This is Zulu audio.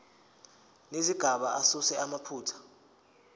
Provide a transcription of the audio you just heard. nezigaba asuse amaphutha